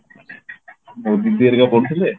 ମୋ ଦିଦି ଆରିକା ପଢୁଥିଲେ